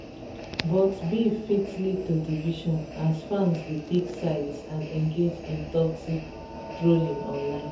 but beef fit lead to division as fans dey pick sides and engage in toxic trolling online